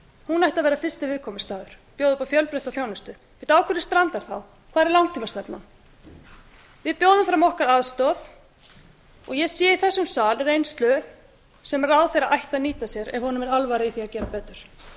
hún ætti að vera fyrsti viðkomustaður bjóða upp á fjölbreytta þjónustu á hverju strandar þá hvar er langtímastefnan við bjóðum fram aðstoð okkar og ég sé í þessum sal reynslu sem ráðherra ætti að nýta sér ef honum er alvara um í að gera betur ég gæti líka